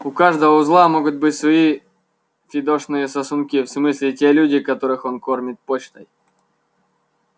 у каждого узла могут быть свои фидошные сосунки в смысле те люди которых он кормит почтой